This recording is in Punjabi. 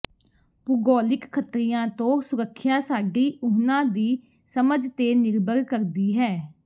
ਭੂਗੋਲਿਕ ਖ਼ਤਰਿਆਂ ਤੋਂ ਸੁਰੱਖਿਆ ਸਾਡੀ ਉਹਨਾਂ ਦੀ ਸਮਝ ਤੇ ਨਿਰਭਰ ਕਰਦੀ ਹੈ